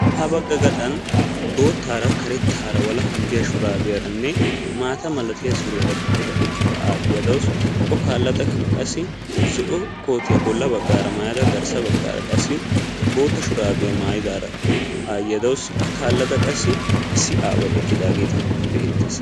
ha baga gaxxani boottarane karettara de"ya suriyaa gixidara de"awsu okka kaalada zo"o kootiya maayidaraka de"awsu ettappekka ya bagara issi bittane beettessi.